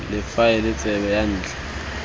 la faele tsebe ya ntlha